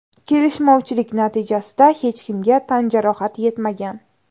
Kelishmovchilik natijasida hech kimga tan jarohati yetmagan.